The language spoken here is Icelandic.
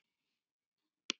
Þetta var æðisleg ferð.